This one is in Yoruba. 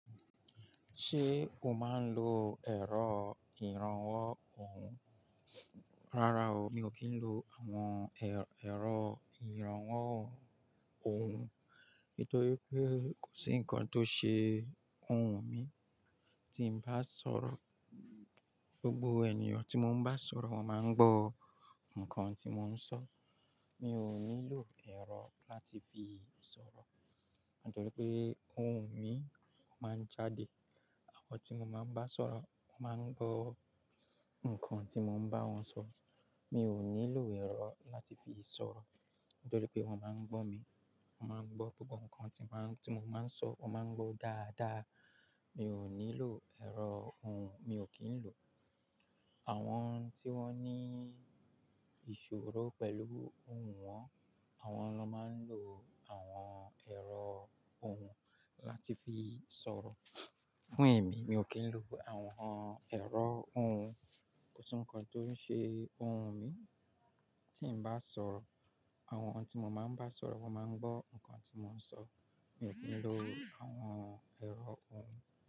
Ṣé o máa ń lo ẹ̀rọ ìrànwọ́ ohùn? Rárá o, mi ò kí ń lo àwọn ẹ̀rọ ìrànwọ́ ohùn nítorí pé kò sí nǹkan tó ṣe ohùn mi tí ń bá sọ̀rọ̀. Gbogbo ènìyàn tí mo bá ń sọ̀rọ̀ máa ń gbọ́ nǹkan tí mò ń sọ. Mi ò nílò ẹ̀rọ láti fi sọ̀rọ̀ nítorí pé ohùn mi máa ń jáde. Àwọn tí mo máa ń bá sọ̀rọ̀ wọn máa ń gbọ́ nǹkan tí mò ń bá wọn sọ. Mi ò nílò ẹ̀rọ láti fi sọ̀rọ̀ nítorí pé wọ́n máa ń gbọ́ mi, wọ́n máa ń gbọ́ gbogbo nǹkan tí máà n ti mò máà ń sọ, wọ́n máa ń gbọ́ dáadáa. Mi ò nílò ẹ̀rọ ohùn, mi ò kí ń lò. Àwọn tí wọ́n ní ìṣòro pẹ̀lú ohùn wọn, àwọn ló máa ń lo àwọn ẹ̀rọ ohùn láti fi sọ̀rọ̀. Fún èmi, mi ò kí ń lo àwọn ẹ̀rọ ohùn. Kò sí nǹkan tó n ṣe ohùn mi tí ń bá sọ̀rọ̀. Àwọn tí mo máa ń bá sọ̀rọ̀ wọn máa ń gbọ́ nǹkan tí mò ń sọ. Mi ò kí ń lo àwọn ẹ̀rọ ohùn.